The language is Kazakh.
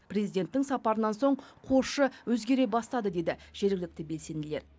президенттің сапарынан соң қосшы өзгере бастады дейді жергілікті белсенділер